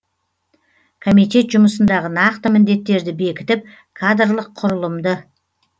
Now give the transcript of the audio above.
комитет жұмысындағы нақты міндеттерді бекітіп кадрлық құрылымды